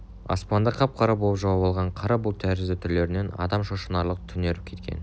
аспанды қап-қара боп жауып алған қара бұлт тәрізді түрлерінен адам шошынарлық түнеріп кеткен